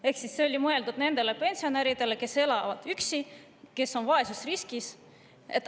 olid mõeldud pensionäridele, kes elavad üksi ja on vaesusriskis.